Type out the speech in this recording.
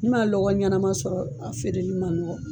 N'i man lɔgɔ ɲɛnama sɔrɔ a feereli man nɔgɔ.